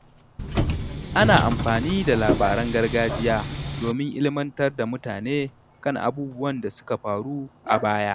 Ana amfani da labaran gargajiya domin ilmantar da mutane kan abubuwan da suka faru a baya.